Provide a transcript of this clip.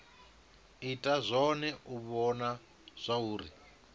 ita zwone u vhona zwauri